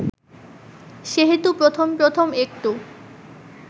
সেহেতু প্রথম প্রথম একটু